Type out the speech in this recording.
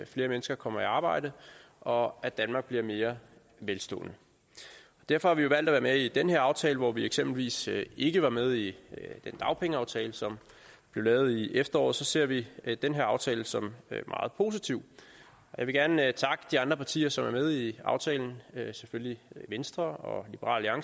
flere mennesker kommer i arbejde og at danmark bliver mere velstående derfor har vi jo valgt at være med i den her aftale hvor vi eksempelvis ikke var med i den dagpengeaftale som blev lavet i efteråret så ser vi den her aftale som meget positiv jeg vil gerne takke de andre partier som er med i aftalen det er selvfølgelig venstre og liberal